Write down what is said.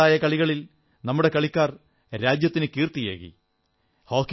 വ്യത്യസ്തങ്ങളായ കളികളിൽ നമ്മുടെ കളിക്കാർ രാജ്യത്തിനു കീർത്തിയേകി